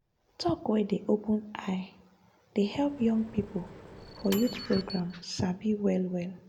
talk wey dey open eye dey help young people for youth program sabi well well.